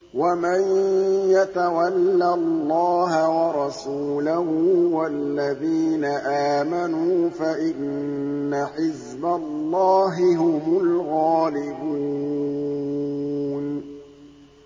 وَمَن يَتَوَلَّ اللَّهَ وَرَسُولَهُ وَالَّذِينَ آمَنُوا فَإِنَّ حِزْبَ اللَّهِ هُمُ الْغَالِبُونَ